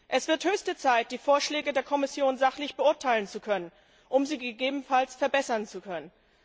Es wird höchste Zeit, die Vorschläge der Kommission sachlich beurteilen zu können, um sie gegebenenfalls verbessern zu können.